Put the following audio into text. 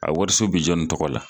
A wariso bi jɔnni tɔgɔ la